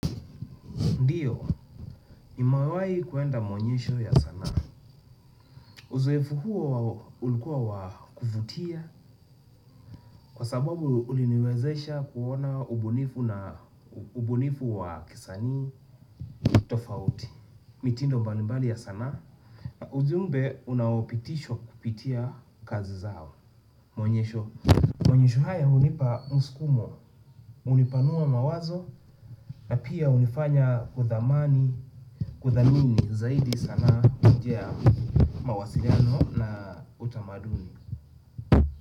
Ndiyo, nimewai kuenda maonyesho ya sanaa. Uzoefu huo ulikuwa wa kufutia kwa sababu uliniwezesha kuona ubunifu na ubunifu wa kisani tofauti. Mitindo mbalimbali ya sana. Ujumbe unaopitishwa kupitia kazi zao. Mwonyesho, mwonyesho haya hunipa muskumo, hunipanua mawazo na pia hunifanya kuthamani, kudhamini zaidi sanaa ujea. Mawasiliano na utamaduni.